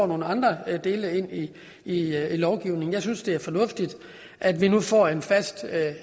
nogle andre dele ind i lovgivningen jeg synes det er fornuftigt at vi nu får en fast